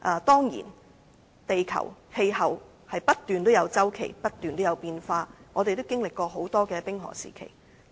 當然，地球氣候有不斷的變化周期，地球也經歷過多個冰河時期。